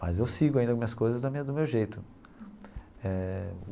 Mas eu sigo ainda as minhas coisas da minha do meu jeito eh.